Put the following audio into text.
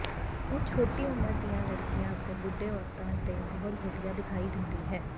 ਉਹ ਛੋਟੀ ਉਮਰ ਦੀਆਂ ਲੜਕੀਆਂ ਅਤੇ ਬੁੱਢੇ ਔਰਤਾਂ ਤੇ ਬਹੁਤ ਵਧੀਆ ਦਿਖਾਈ ਦਿੰਦੀ ਹੈ